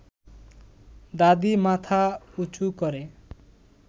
দাদি মাথা উঁচু করে